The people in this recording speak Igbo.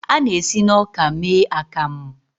A na-esi na ọka mee akamu.